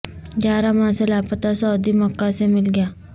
گیارہ ماہ سے لاپتہ سعودی مکہ سے مل گیا